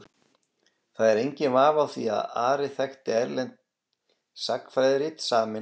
Það er enginn vafi á því að Ari þekkti erlend sagnfræðirit samin á latínu.